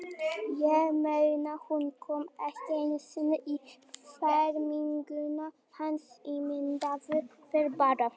Ég meina, hún kom ekki einu sinni í ferminguna hans, ímyndaðu þér bara.